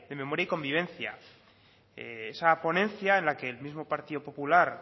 memoria y convivencia esa ponencia en la que el mismo partido popular